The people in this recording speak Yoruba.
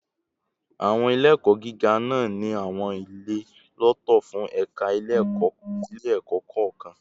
Ile-ẹkọ giga naa ni awọn ile lọtọ fun ẹka ile-ẹkọ kọọkan